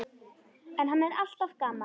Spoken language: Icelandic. En hann er alltaf gamall.